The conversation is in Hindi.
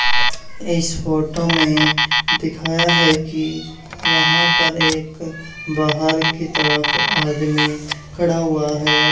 इस फोटो में दिखाया है कि यहां पर एक बाहर की तरफ आदमी खड़ा हुआ है।